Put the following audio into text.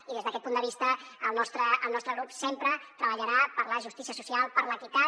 i des d’aquest punt de vista el nostre grup sempre treballarà per la justícia social per l’equitat